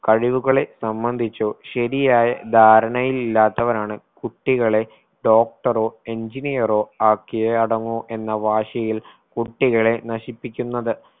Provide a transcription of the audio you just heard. കഴിവുകളെ സംബന്ധിച്ചോ ശരിയായ ധാരണയിലില്ലാത്തവരാണ് കുട്ടികളെ doctor ഓ engineer ഓ ആക്കിയേ അടങ്ങൂ എന്ന വാശിയിൽ കുട്ടികളെ നശിപ്പിക്കുന്നത്